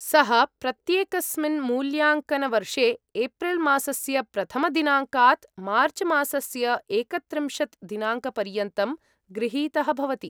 सः, प्रत्येकस्मिन् मूल्याङ्कनवर्षे, एप्रिल् मासस्य प्रथमदिनाङ्कात्, मार्च् मासस्य एकत्रिंशत् दिनाङ्कपर्यन्तं गृहीतः भवति।